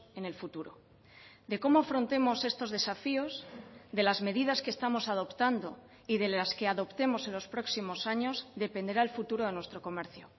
en el futuro de cómo afrontemos estos desafíos de las medidas que estamos adoptando y de las que adoptemos en los próximos años dependerá el futuro a nuestro comercio